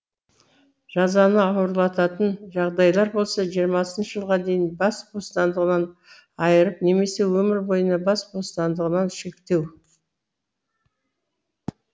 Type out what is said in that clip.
жазаны ауырлататын жағдайлар болса жиырмасыншы жылға дейін бас бостандығынан айырып немесе өмір бойына бас бостандығынан шектеу